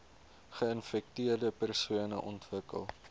geinfekteerde persone ontwikkel